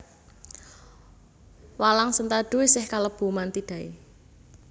Walang sentadu isih kalebu Mantidae